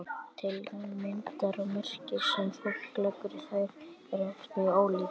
tilgangur myndanna og merkingin sem fólk leggur í þær eru oft mjög ólík